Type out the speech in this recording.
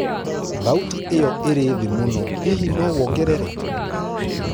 thauti iyo iri thi muno hihi nowongerere